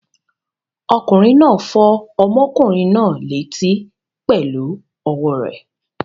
Ọkùnrin náà fọ́ ọmọkùnrin náà létí pẹ̀lú ọwọ́ rẹ̀.